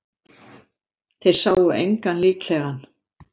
Þeir sáu engan líklegan